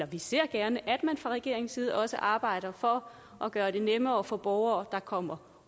vi ser gerne at man fra regeringens side også arbejder for at gøre det nemmere for borgere der kommer